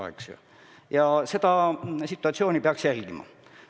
Kogu situatsiooni peaks jälgima.